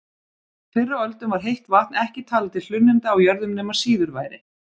Fyrr á öldum var heitt vatn ekki talið til hlunninda á jörðum nema síður væri.